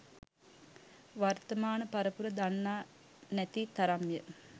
වර්තමාන පරපුර දන්නා නැති තරම්ය